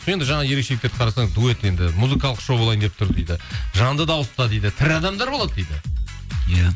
енді жаңа ерекшеліктерді қарасаңыз дуэт енді музыкалық шоу болайын деп тұр дейді жанды дауыста дейді тірі адамдар болады дейді иә